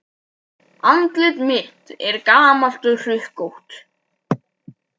Andlit mitt er gamalt og hrukkótt.